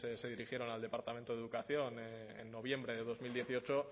se dirigieron al departamento de educación en noviembre de dos mil dieciocho